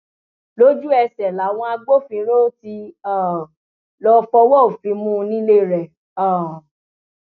lójúẹsẹ làwọn agbófinró tí um lọọ fọwọ òfin mú un nílé rẹ um